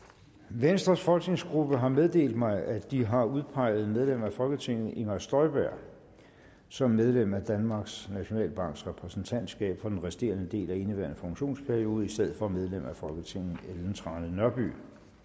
venstres folketingsgruppe har meddelt mig at de har udpeget medlem af folketinget inger støjberg som medlem af danmarks nationalbanks repræsentantskab for den resterende del af indeværende funktionsperiode i stedet for medlem af folketinget ellen trane nørby